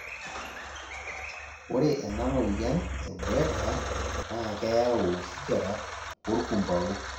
ore ena moyian e Buerger naa keyau osigara orkumpau